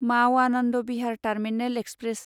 माव Anand Vihar terminal express